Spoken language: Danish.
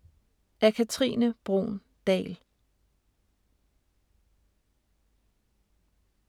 Af Katrine Bruun Dahl